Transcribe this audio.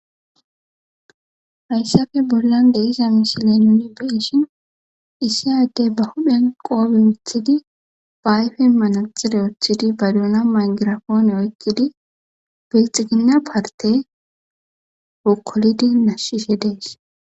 hayssafe bollan de isa mishiley nuni beshin isi addey ba huphen qoobe othidi baayfe manaxire uthidi baduuna mangirafoone oykkidi biixigina parte wokkolidi nashshishe dees